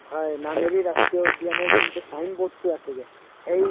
হয় নামেৰি ৰাষ্ট্ৰীয় উদ্য়ানৰ যোনটো sign board তো আছে যে সেই